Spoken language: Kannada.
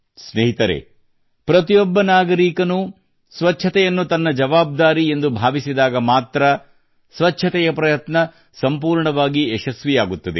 ಸ್ನೇಹಿತರೇ ಪ್ರತಿಯೊಬ್ಬ ನಾಗರಿಕನೂ ಸ್ವಚ್ಛತೆಯನ್ನು ತನ್ನ ಜವಾಬ್ದಾರಿ ಎಂದು ಭಾವಿಸಿದಾಗ ಮಾತ್ರಾ ಸ್ವಚ್ಛತೆಯ ಪ್ರಯತ್ನ ಸಂಪೂರ್ಣವಾಗಿ ಯಶಸ್ವಿಯಾಗುತ್ತದೆ